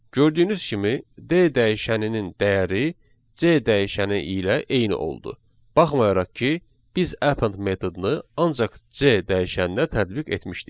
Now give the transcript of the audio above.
Gördüyünüz kimi D dəyişəninin dəyəri C dəyişəni ilə eyni oldu, baxmayaraq ki, biz append metodunu ancaq C dəyişəninə tətbiq etmişdik.